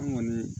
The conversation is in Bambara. An kɔni